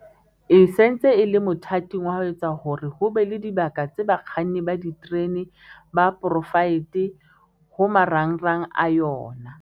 e se ntse e le mothating wa ho etsa hore ho be le dibaka tsa bakganni ba diterene ba poraefete ho marangrang a yona.